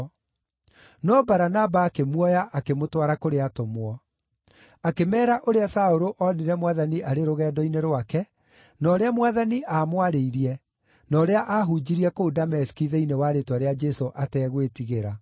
No Baranaba akĩmuoya akĩmũtwara kũrĩ atũmwo. Akĩmeera ũrĩa Saũlũ oonire Mwathani arĩ rũgendo-inĩ rwake, na ũrĩa Mwathani aamwarĩirie, na ũrĩa aahunjirie kũu Dameski thĩinĩ wa rĩĩtwa rĩa Jesũ ategwĩtigĩra.